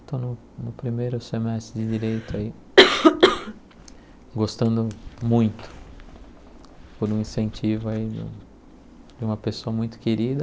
Estou no primeiro semestre de Direito aí, gostando muito por um incentivo aí de um de uma pessoa muito querida.